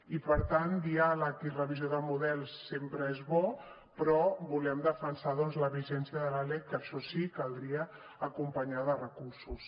i per tant diàleg i revisió de models sempre és bo però volem defensar doncs la vigència de la lec que això sí caldria acompanyar de recursos